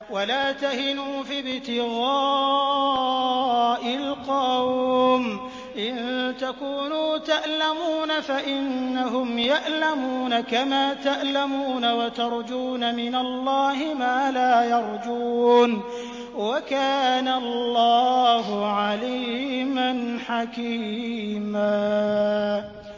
وَلَا تَهِنُوا فِي ابْتِغَاءِ الْقَوْمِ ۖ إِن تَكُونُوا تَأْلَمُونَ فَإِنَّهُمْ يَأْلَمُونَ كَمَا تَأْلَمُونَ ۖ وَتَرْجُونَ مِنَ اللَّهِ مَا لَا يَرْجُونَ ۗ وَكَانَ اللَّهُ عَلِيمًا حَكِيمًا